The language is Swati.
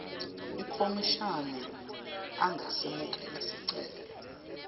ikhomishani angasemukela sicelo